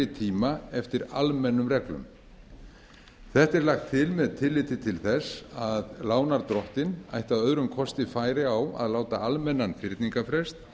tíma eftir almennum reglum þetta er lagt til með tilliti til þess að lánardrottinn ætti að öðrum kosti færi á að láta almennan fyrningarfrest